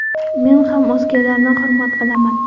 Men ham o‘zgalarni hurmat qilaman.